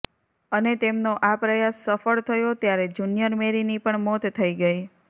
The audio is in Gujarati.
અને તેમનો આ પ્રયાસ સફળ થયો ત્યારે જૂનિયર મૅરીની પણ મોત થઈ ગઈ